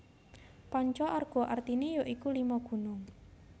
Panca Arga artine ya iku Lima Gunung